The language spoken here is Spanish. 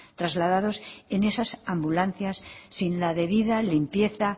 trasladados en esas ambulancias sin la debida limpieza